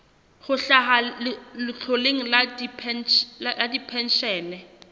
ho hlaha letloleng la dipenshene